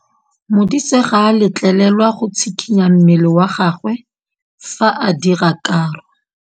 Modise ga a letlelelwa go tshikinya mmele wa gagwe fa ba dira karô.